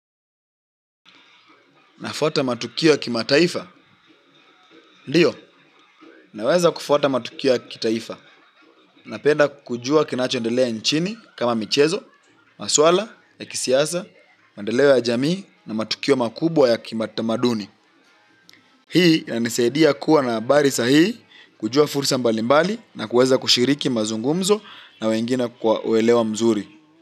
Nafuata matukio ya kimataifa? Ndio, naweza kufuata matukio ya kitaifa. Napenda kujua kinacho endelea nchini kama michezo, masuala ya kisiasa, maendeleo ya jamii, na matukio makubwa ya kitamaduni. Hii yanisaidia kuwa na habari sahihi kujua fursa mbali mbali na kuweza kushiriki mazungumzo na wengine kwa uelewa mzuri.